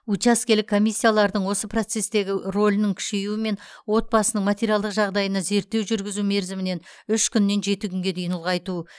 учаскелік комиссиялардың осы процестегі рөлінің күшеюімен отбасының материалдық жағдайына зерттеу жүргізу мерзімін үш күннен жеті күнге дейін ұлғайту